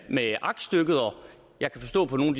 med aktstykket jeg kan forstå på nogle